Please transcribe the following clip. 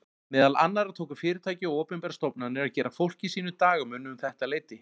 Meðal annars tóku fyrirtæki og opinberar stofnanir að gera fólki sínu dagamun um þetta leyti.